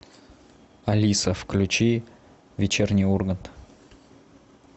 алиса включи вечерний ургант